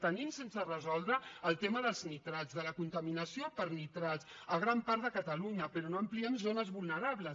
tenim sense resoldre el tema dels nitrats de la contaminació per nitrat a gran part de catalunya però no ampliem zones vulnerables